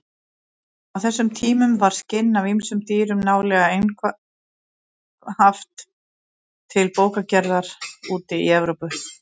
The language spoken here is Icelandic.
Á þessum tímum var skinn af ýmsum dýrum nálega einhaft til bókagerðar úti í Evrópu.